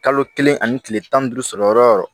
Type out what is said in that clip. Kalo kelen ani kile tan ni duuru sɔrɔ yɔrɔ o yɔrɔ